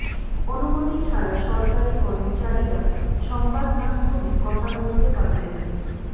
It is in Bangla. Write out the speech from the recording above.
অনুমতি ছাড়া সরকারি কর্মচারীরা সংবাদমাধ্যমে কথা বলতে পারবেন না